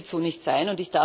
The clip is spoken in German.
Das wird so nicht sein.